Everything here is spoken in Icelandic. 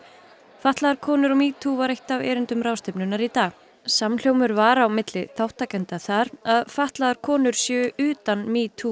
fatlaðar konur og metoo var eitt af erindum ráðstefnunnar í dag samhljómur var á milli þátttakenda þar að fatlaðar konur séu utan metoo